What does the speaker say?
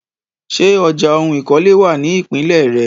Ṣé ọjà oun ìkọ́lé wà ní ìpínlè re?